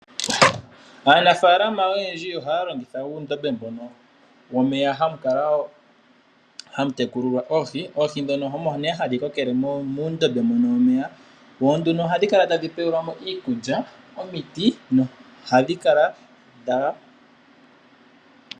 Aanafalama oyendji ohaya longitha uundobe mbono womeya, hamukala woo hamu tekulilwa oohi. Oohi ndhono omo nee hadhi kokele muundobe mbono womeya, oha dhi kala tadhi tulilwa mo iikulya.